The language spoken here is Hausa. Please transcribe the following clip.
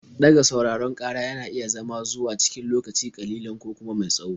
Ɗaga sauraron ƙara yana iya zama zuwa cikin lokaci ƙalilan ko kuma mai tsawo.